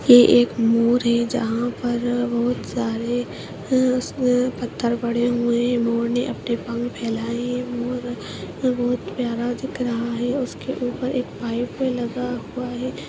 ये एक मोर है जहांँ पर बहोत सारे अ-अ-पत्थर पड़े हुए हैं मोर ने अपने पंख फैलाए हुए अ-अ ये बहोत प्यारा दिख रहा है उसके ऊपर एक पाइप भी लगा हुआ है।